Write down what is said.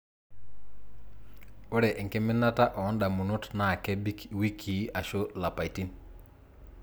Ore enkiminata ondamunot naa kebik wikii ashu lapaitin.